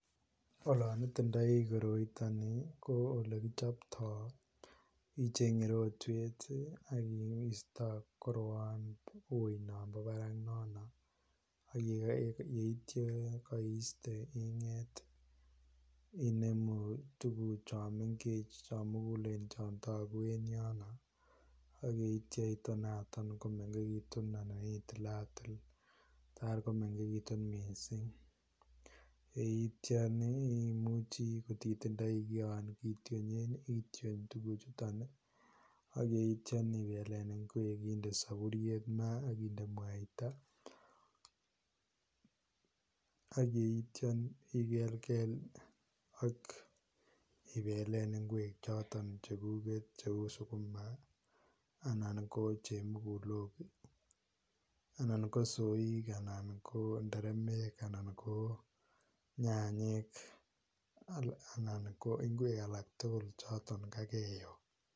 Olaan itindai koroitaan nii ko ole kipchaptai ichenge rotweet ii ak keista koroan wui nambo Barak nono agiyeityaa kaistee ingeet inemuu tuguuk chaang mengeech chaang muguleen chaang taguu en yono ak yeityaa itonatoon komegekituun akitilatik taar ko mengekituun missing, ko yeityaan ii imuchii ii kotindai kian kityonyeen ityoon tuguuk chutoon ii ak yeityaan ibeleen kweek indee saburuiet mara akindee mwaita ak yeityaan ii igelgel ak ibeleen ngweeg chotoon cheguget cheu sukuma anan ko chemukulook anan soik anan ko nderemek, anan ko nyanyeek anan ko ngweeg alaak tuguul chotoon kageyoo.